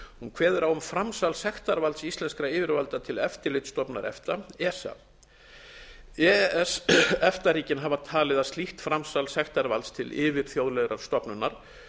kveður á um framsal sektarvalds íslenskra yfirvalda til eftirlitsstofnunar efta esa e e s efta ríkin hafa talið að slíkt framsal sektarvalds til yfirþjóðlegrar stofnunar